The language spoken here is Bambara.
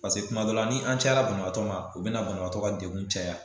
Paseke kuma dɔ la ni an caya la banabaatɔ ma o bina banabaatɔ degun caya